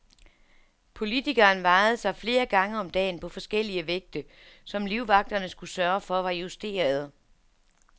Politikeren vejede sig flere gange om dagen på forskellige vægte, som livvagterne skulle sørge for var justerede.